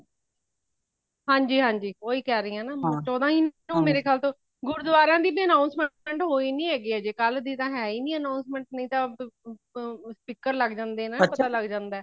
ਹਾਂਜੀ ਹਾਂਜੀ ਉਹੀ ਕਹਿ ਰਹੀ ਹਾਂ ਚੋਹਦਾ ਹੀ ਨੂੰ ਮੇਰੇ ਖ਼ਯਾਲ ਤੋਂ ਗੁਰਦੁਆਰੇ ਦੀ ਏ announcement ਹੋਈ ਨਹੀਂ ਹੈਗੀ ਹਜੇ ਕਲ ਦੀ ਤਾ ਹੈਈ ਨਹੀਂ announcement ਨਹੀਂ ਤਾ speaker ਲੱਗ ਜਾਂਦੇ ਹੈ ਨਾ ਪਤਾ ਲੱਗ ਜਾਂਦਾ ਹੈ